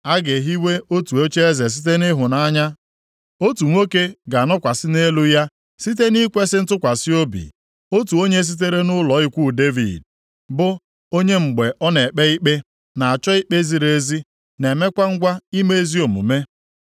A ga-ehiwe otu ocheeze site nʼịhụnanya; otu nwoke ga-anọkwasị nʼelu ya site nʼikwesị ntụkwasị obi, otu onye sitere nʼụlọ ikwu Devid, bụ, onye mgbe ọ na-ekpe ikpe, na-achọ ikpe ziri ezi, + 16:5 \+xt Aịz 9:6-7; Aịz 32:1; Dan 7:14; Luk 1:33; Mkp 11:15\+xt* na-emekwa ngwa ime ezi omume.